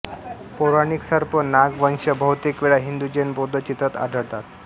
पौराणिक सर्प नाग वंश बहुतेक वेळा हिंदू जैन बौद्ध चित्रात आढळते